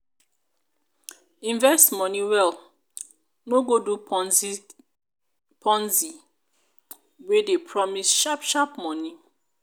invest money well no go do ponzi wey dey promise sharp sharp money